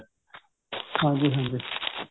ਹਾਂਜੀ ਹਾਂਜੀ ਹਾਂਜੀ